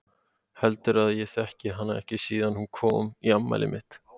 Heldurðu að ég þekki hana ekki síðan hún kom í afmælið mitt?